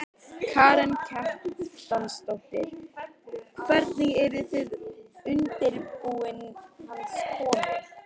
Karen Kjartansdóttir: Hvernig eru þið undirbúin hans komu?